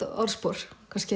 orðspor